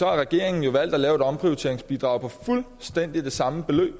regeringen jo valgt at indføre et omprioriteringsbidrag på fuldstændig det samme beløb